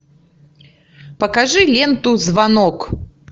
покажи ленту звонок